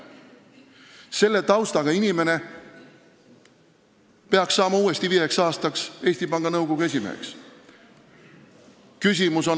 Ja sellise taustaga inimene peaks uuesti viieks aastaks Eesti Panga Nõukogu esimeheks saama?